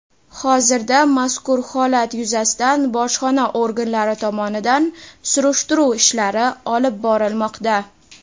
Hozirda mazkur holat yuzasidan bojxona organlari tomonidan surishtiruv ishlari olib borilmoqda.